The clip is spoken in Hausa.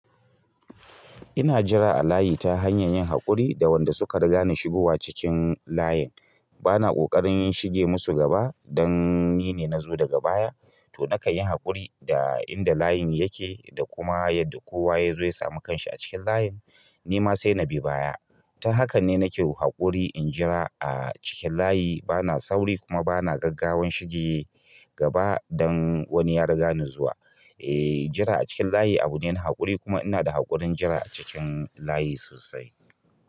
Ina jira a layi ta hanyar yin haƙuri da wanda suka riga ni shigowa cikin layin. Bana ƙoƙarin shige musu gaba dan ni ne na zo daga baya. To nakan yi haƙuri da inda layin yake da kuma yadda kowa ya zo ya samu kanshi a cikin layin. Ni ma sai na bi baya. Ta haka ne nake wa haƙuri in jira a cikin layi. Bana sauri kuma bana gaggawan shige gaba dan wani ya riga ni zuwa. E jira acikin layi abune na haƙuri kuma ina da haƙurin jira a cikin layi sosai.